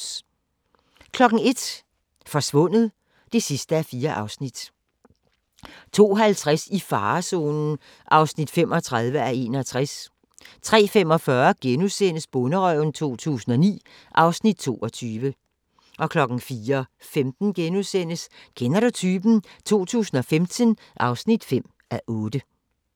01:00: Forsvundet (4:4) 02:50: I farezonen (35:61) 03:45: Bonderøven 2009 (Afs. 22)* 04:15: Kender du typen? 2015 (5:8)*